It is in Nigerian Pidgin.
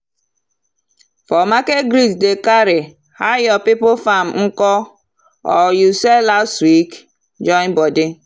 for market greet dey carry “how your people farm nko or you sell last week? join body.